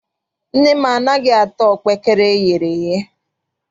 Nne m anaghị ata ọkpaekere eyere eye.